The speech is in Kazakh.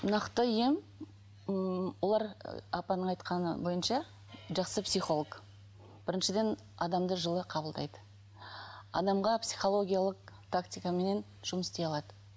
нақты ем ммм олар апаның айтқаны бойынша жақсы психолог біріншіден адамды жылы қабылдайды адамға психологиялық тактикаменен жұмыс істей алады